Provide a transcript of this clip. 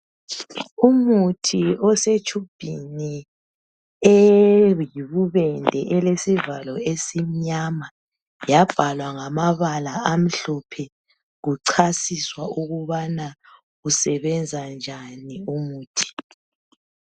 Umuthi osetshubhini eyibubende elesivalo esimnyama yabhalwa ngamabala amhlophe kuchasiswa ukubana usebenzanjani umuthi.